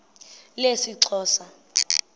lesixhosa